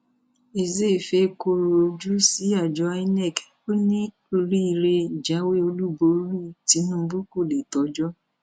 ezeifa kọrọ ojú sí àjọ inov ó ní oríire ìjáwé olúborí tìǹbù kó lè tọjọ